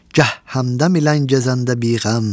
Gəh həmdəm ilə gəzəndə biğəm.